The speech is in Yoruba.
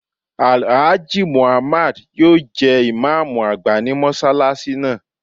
Alhaji Muhammad yóò jẹ imam agba ni mọsalasi naa